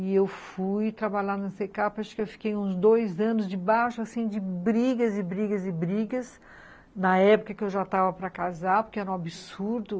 E eu fui trabalhar na cê cá pê, acho que eu fiquei uns dois anos debaixo, assim, de brigas e brigas e brigas, na época que eu já estava para casar, porque era um absurdo.